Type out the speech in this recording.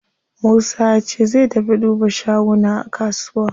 Musa yace zai tafi duba shaguna a kusuwa.